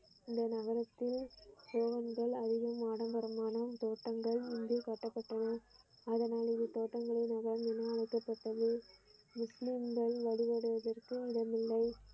அந்த நகரத்தில் கோபுரங்கள் அதிக ஆடம்பரமான தோட்டங்கள் முன்பே கட்டப்பட்டன அதனால் இது தோட்டங்களில் மகான் என அழைக்கப்பட்டது முஸ்லிம்கள் வழிபடுவதற்கு இடமில்லை.